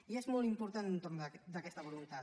i és molt important l’entorn d’aquesta voluntat